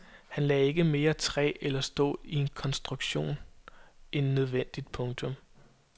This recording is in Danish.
Han lagde ikke mere træ eller stål i en konstruktion end nødvendigt. punktum